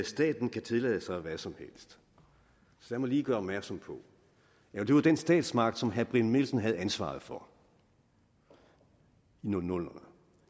staten kan tillade sig hvad som helst jeg må lige gøre opmærksom på at det var den statsmagt som herre brian mikkelsen havde ansvaret for i nullerne